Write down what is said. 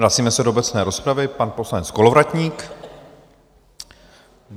Vracíme se do obecné rozpravy, pan poslanec Kolovratník.